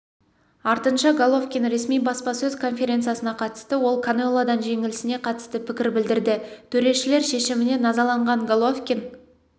артынша головкин ресми баспасөз конференциясына қатысты ол канелодан жеңілісіне қатысты пікір білдірді төрешілер шешіміне назаланған головкин